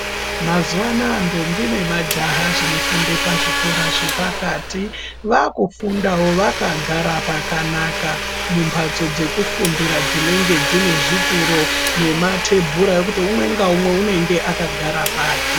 Mazuwanaya ntombi nemajaha dzofunde pazvikora zvepakati, vakufundawo vakagara pakanaka mumbatso dzekufundira munenge munezvituro nematebhura ekuti umwe naumwe unenge akagara pake